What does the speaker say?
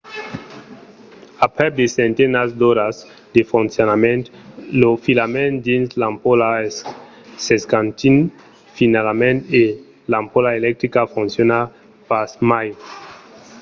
aprèp de centenats d’oras de foncionament lo filament dins l'ampola s'escantís finalament e l'ampola electrica fonciona pas mai